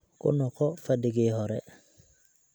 ku noqo fadhigii hore